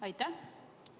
Aitäh!